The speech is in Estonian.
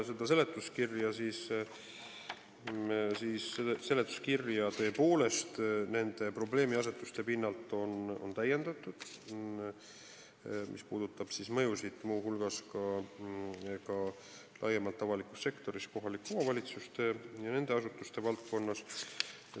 Seletuskirja on tõepoolest täiendatud nende probleemiasetuste pinnalt, mis puudutavad mõjusid, muu hulgas laiemalt avalikus sektoris, kohalike omavalitsuste ja nende asutuste valdkonnas.